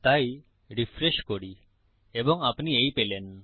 তাই রিফ্রেশ করি এবং আপনি এই পেলেন